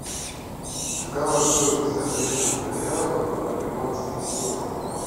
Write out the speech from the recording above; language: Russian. какова стоимость обмена реала в перуанские соли